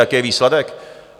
Jaký je výsledek?